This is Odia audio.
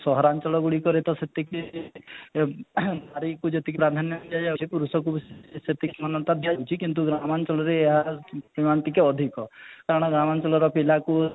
ସହରାଞ୍ଚଳ ଗୁଡିକରେ ତ ସେତିକି ଏଁ ନାରୀକୁ ଯେତିକି ସ୍ୱାଧୀନତା ଦିଆ ଯାଉଛି ପୁରୁଷକୁ ବି ସେତିକି ଦିଆ ଯାଉଛି କିନ୍ତୁ ଗ୍ରାମାଞ୍ଚଳରେ ଏହାର ସମାନ ଟିକେ ଅଧିକ କାରଣ ଗ୍ରାମାଂଚଳର ପିଲାକୁ